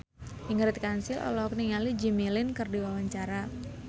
Ingrid Kansil olohok ningali Jimmy Lin keur diwawancara